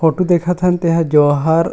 photo देखत हन तेहा जो हर--